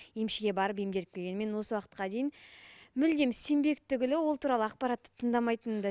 емшіге барып емделіп келген мен осы уақытқа дейін мүлдем сенбек түгілі ол туралы ақпаратты тыңдамайтынмын да